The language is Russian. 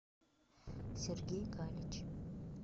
сергей галич